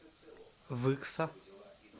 выкса